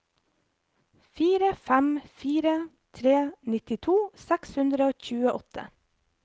fire fem fire tre nittito seks hundre og tjueåtte